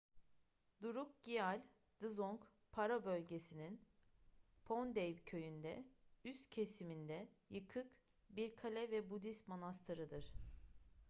drukgyal dzong paro bölgesi'nin phondey köyü'nde üst kesiminde yıkık bir kale ve budist manastırıdır